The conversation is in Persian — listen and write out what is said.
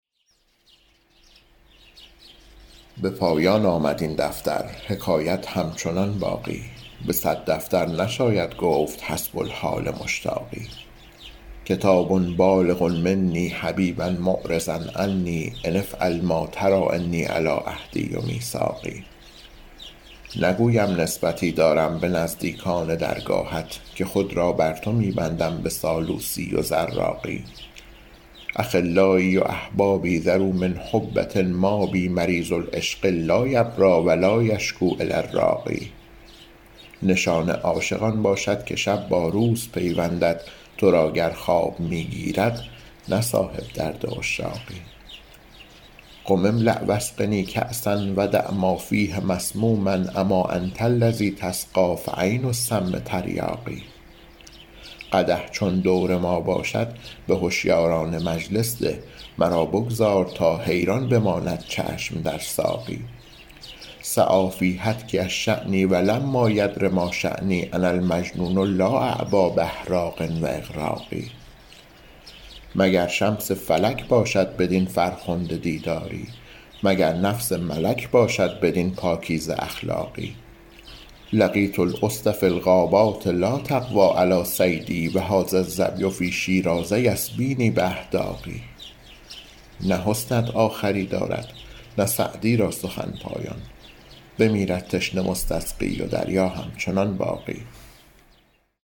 به پایان آمد این دفتر حکایت همچنان باقی به صد دفتر نشاید گفت حسب الحال مشتاقی کتاب بالغ منی حبیبا معرضا عنی أن افعل ما تری إني علی عهدی و میثاقی نگویم نسبتی دارم به نزدیکان درگاهت که خود را بر تو می بندم به سالوسی و زراقی أخلایی و أحبابی ذروا من حبه مابی مریض العشق لا یبری و لا یشکو إلی الراقی نشان عاشق آن باشد که شب با روز پیوندد تو را گر خواب می گیرد نه صاحب درد عشاقی قم املأ و اسقنی کأسا و دع ما فیه مسموما أما أنت الذی تسقی فعین السم تریاقی قدح چون دور ما باشد به هشیاران مجلس ده مرا بگذار تا حیران بماند چشم در ساقی سعی فی هتکی الشانی و لما یدر ما شانی أنا المجنون لا أعبا بإحراق و إغراق مگر شمس فلک باشد بدین فرخنده دیداری مگر نفس ملک باشد بدین پاکیزه اخلاقی لقیت الأسد فی الغابات لا تقوی علی صیدی و هذا الظبی فی شیراز یسبینی بأحداق نه حسنت آخری دارد نه سعدی را سخن پایان بمیرد تشنه مستسقی و دریا همچنان باقی